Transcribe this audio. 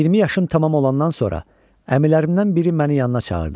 20 yaşım tamam olandan sonra əmilərimdən biri məni yanına çağırdı.